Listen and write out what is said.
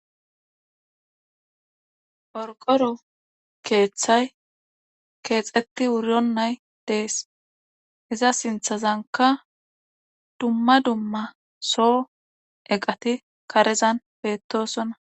Qorora keethay kexeti wuronay Des,iza sinthazanka dumma dumma so eqat betosona.